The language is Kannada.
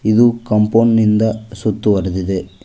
ಇದು ಕಾಂಪೌಂಡ್ ನಿಂದ ಸುತ್ತು ವರಿದಿದೆ.